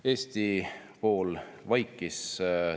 Eesti pool vaikis.